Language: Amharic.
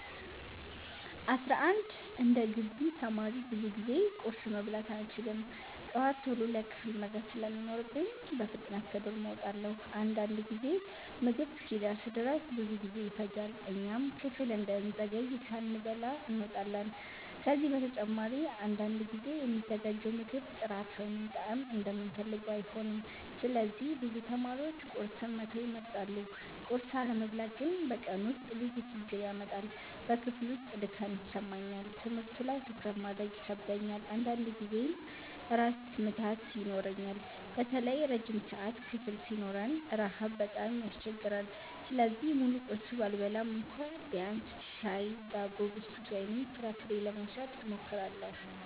11እንደ ግቢ ተማሪ ብዙ ጊዜ ቁርስ መብላት አልችልም። ጠዋት ቶሎ ለክፍል መድረስ ስለሚኖርብኝ በፍጥነት ከዶርም እወጣለሁ። አንዳንድ ጊዜ ምግብ እስኪደርስ ድረስ ብዙ ጊዜ ይፈጃል፣ እኛም ክፍል እንዳንዘገይ ሳንበላ እንወጣለን። ከዚህ በተጨማሪ አንዳንድ ጊዜ የሚዘጋጀው ምግብ ጥራት ወይም ጣዕም እንደምንፈልገው አይሆንም፣ ስለዚህ ብዙ ተማሪዎች ቁርስን መተው ይመርጣሉ። ቁርስ አለመብላት ግን በቀኑ ውስጥ ብዙ ችግር ያመጣል። በክፍል ውስጥ ድካም ይሰማኛል፣ ትምህርቱ ላይ ትኩረት ማድረግ ይከብደኛል፣ አንዳንድ ጊዜም ራስ ምታት ይኖረኛል። በተለይ ረጅም ሰዓት ክፍል ሲኖረን ረሃብ በጣም ያስቸግራል። ስለዚህ ሙሉ ቁርስ ባልበላም እንኳ ቢያንስ ሻይ፣ ዳቦ፣ ብስኩት ወይም ፍራፍሬ ለመውሰድ እሞክራለሁ።